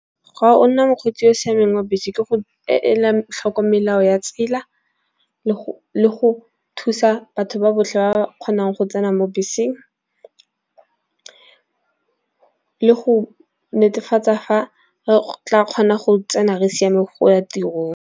Ga nna mokgweetsi yo o siameng wa bese ke go ela tlhoko melao ya tsela. Le go thusa batho ba botlhe ba kgonang go tsena mo beseng, le go netefatsa fa re tla kgona go tsena re siame go ya tirong.